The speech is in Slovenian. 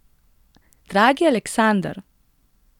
Dragi Aleksander!